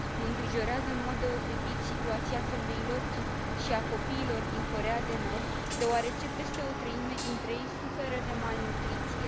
Mă îngrijorează în mod deosebit situația femeilor și a copiilor din Coreea de Nord, deoarece peste o treime dintre ei suferă de malnutriție.